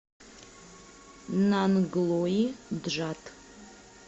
нанглои джат